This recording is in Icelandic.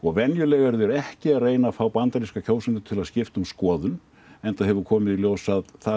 venjulega eru þeir ekki að reyna að fá bandaríska kjósendur til að skipta um skoðun enda hefur komið í ljós að það